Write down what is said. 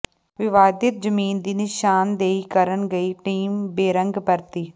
ਵਿਵਾਦਿਤ ਜ਼ਮੀਨ ਦੀ ਨਿਸ਼ਾਨਦੇਹੀ ਕਰਨ ਗਈ ਟੀਮ ਬੇਰੰਗ ਪਰਤੀ